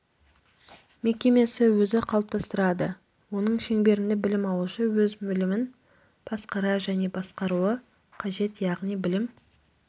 мекемесі өзі қалыптастырады оның шеңберінде білім алушы өз білімін басқара және басқаруы қажет яғни білім